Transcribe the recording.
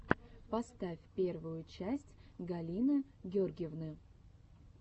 поставь первую часть галины гергивны